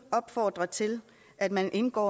opfordre til at man indgår